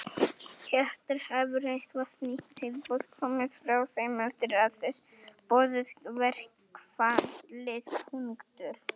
Hjörtur: Hefur eitthvað nýtt tilboð komið frá þeim eftir að þið boðuðu verkfallið?